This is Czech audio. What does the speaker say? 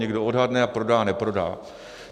Někdo odhadne a prodá, neprodá.